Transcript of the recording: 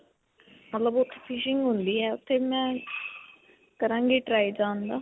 ਮਤਲਬ ਉੱਥੇ fishing ਹੁੰਦੀ ਹੈ. ਉੱਥੇ ਮੈ ਕਰਾਂਗੀ try ਜਾਣ ਦਾ.